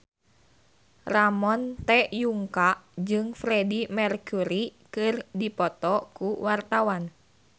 Ramon T. Yungka jeung Freedie Mercury keur dipoto ku wartawan